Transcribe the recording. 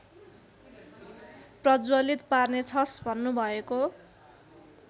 प्रज्वलित पार्नेछस् भन्नुभएको